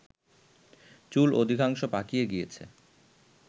চুল অধিকাংশ পাকিয়া গিয়াছে